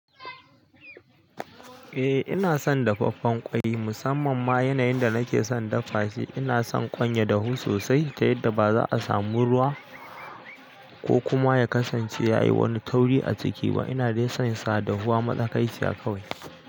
Eh ina son dafaffen ƙwai musamman ma yanayin da nake son dafa shi. Ina son ƙwan ya dahu sosai ta yadda ba za'a samu ruwa ko kuma ya kasance ya yi wani tauri a ciki ba. Ina dai son sa dahuwa matsakaiciya kawai.